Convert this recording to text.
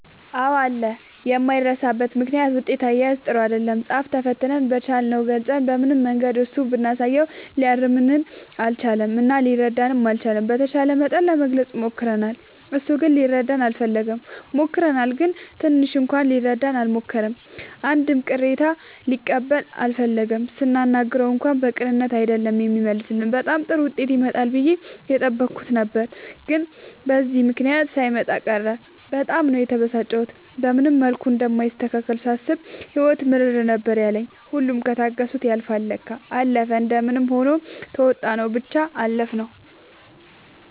አዎ አለ የማይረሳበት ምክንያት ውጤት አያያዝ ጥሩ አይደለም ፃፍ ተፈትነን በቻልነው ገልፀን በምንም መንገድ እሱ ብናሳየውም ሊያርምልን አልቻለም እና ሊረዳንም አልቻለም። በተቻለ መጠን ለመግለፅ ሞክርናል እሱ ግን ሊረዳን አልፈለገም። ሞክረናል ግን ትንሽ እንኳን ሊረዳን አልሞከረም አንድም ቅሬታ ሊቀበል አልፈለገም ስናናግረው እንኳን በቅንነት አይደለም የሚመልስልን በጣም ጥሩ ዉጤት ይመጣል ብዬ የጠበኩት ነበር ግን በዚህ ምክንያት ሳይመጣ ቀረ በጣም ነው የተበሳጨሁት። በምንም መልኩ እንደማይስተካከልልኝ ሳስብ ህይወት ምርር ነበር ያለኝ ሁሉም ከታገሱት ያልፍል ለካ። አለፈ እንደምንም ሆኖ ተዉጣንው ብቻ አለፍነው።